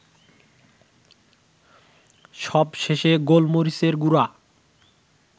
সবশেষে গোলমরিচের গুড়া